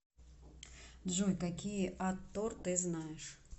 джой какие атор ты знаешь